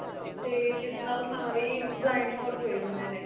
ਤੇ ਜਿਸ ਨਾਲ ਸਾਰੇ ਹੀ blind fall ਹੋ ਜਾਂਦੇ ਨੇ